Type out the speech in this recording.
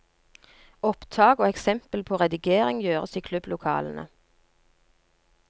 Opptak og eksempel på redigering gjøres i klubblokalene.